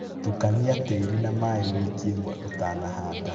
Tukania tĩri na maĩĩ wiki imwe ũtanahanda